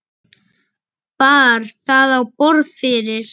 Bar það á borð fyrir